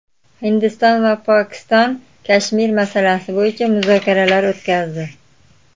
Hindiston va Pokiston Kashmir masalasi bo‘yicha muzokaralar o‘tkazdi.